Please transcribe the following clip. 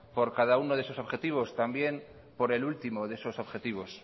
por cada uno de esos objetivos también por el último de esos objetivos